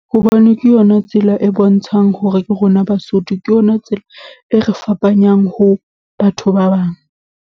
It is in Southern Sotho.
Hobane ke yona tsela e bontshang hore ke rona Basotho, ke yona tsela e re fapanyang ho batho ba bang.